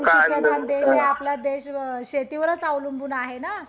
भारत आपला कृषी आहे आपला देश शेतीवरच अवलंबून आहे ना